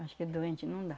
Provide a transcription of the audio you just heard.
Acho que doente não dá.